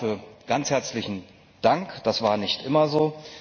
Also dafür ganz herzlichen Dank, das war nicht immer so.